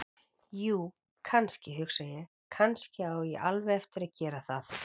Jú, kannski, hugsa ég: Kannski á ég alveg eftir að gera það.